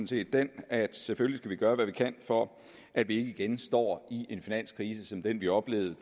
set den at selvfølgelig vi gøre hvad vi kan for at vi ikke igen står i en finanskrise som den vi oplevede